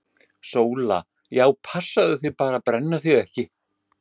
SÓLA: Já, passaðu þig bara að brenna þig ekki!